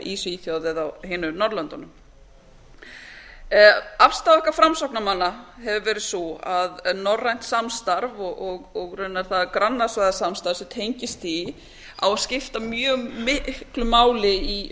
í svíþjóð eða á hinum norðurlöndunum afstaða okkar framsóknarmanna hefur verið sú að norrænt samstarf og raunar það grannastaðasamstarf sem tengist því á að skipta mjög miklu máli í